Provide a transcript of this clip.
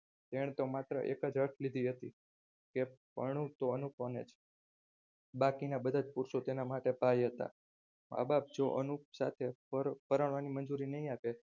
વહેતો માત્ર એક જ હઠ લીધી હતી પણું તો અનુપમને જ બાકીના બધા જ પુરુષો તેના માટે ભાઈ હતા મા બાપ જો અનુપ સાથે પરણવાની મંજૂરી નહીં આપે.